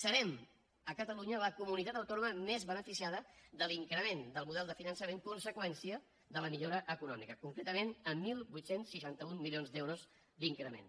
serem a catalunya la comunitat autònoma més beneficiada de l’increment del model de finançament conseqüència de la millora econòmica concretament amb divuit seixanta u milions d’euros d’increment